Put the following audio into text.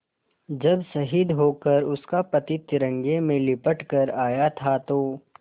जब शहीद होकर उसका पति तिरंगे में लिपट कर आया था तो